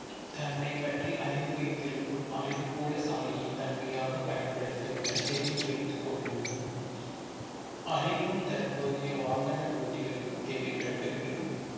தன்னைப் பற்றி அறிந்து வைத்திருக்கும் அருவி போல சாலையை தன்மையாக பயன்படுத்தவுடன் தெரிந்து வைத்துக் கொள்ளவும் அறிவும் தற்போதைய வாகன ஓட்டிகளுக்கு தேவைப்படுகிறது